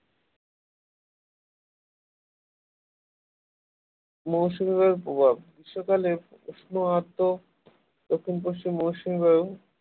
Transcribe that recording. মৌসুমী বায়ুর প্রভাব গ্রীষ্মকালে উষ্ণ আদ্র দক্ষিণ-পশ্চিম মৌসুমি বায়ু